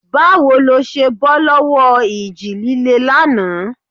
Báwo lẹ ṣe bọ́ lọ́wọ́ ìjì líle lánàá?